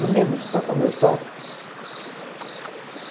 Meninos, toca meu toque.